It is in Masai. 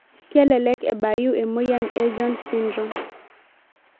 Kelelek ebayu emoyian e jones syndrome.